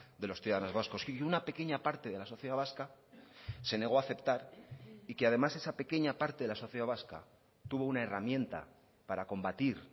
de los ciudadanos vascos y una pequeña parte de la sociedad vasca se negó a aceptar y que además esa pequeña parte de la sociedad vasca tuvo una herramienta para combatir